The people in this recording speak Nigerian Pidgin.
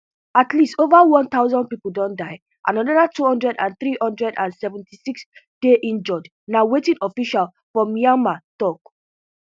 at least ova one thousand pipo don die and anoda two thousand, three hundred and seventy-six dey injured na wetin officials for myanmar tok